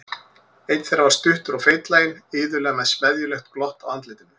Einn þeirra var stuttur og feitlaginn, iðulega með smeðjulegt glott á andlitinu.